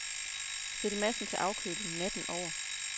Stil massen til afkøling natten over.